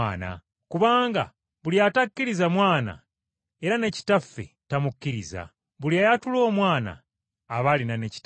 Kubanga buli atakkiriza Mwana era ne Kitaffe tamukkiriza. Buli ayatula Omwana aba alina ne Kitaffe.